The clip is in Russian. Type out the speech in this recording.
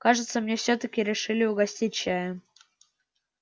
кажется меня всё-таки решили угостить чаем